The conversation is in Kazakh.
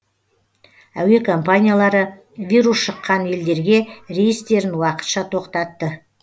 әуе компаниялары вирус шыққан елдерге рейстерін уақытша тоқтатты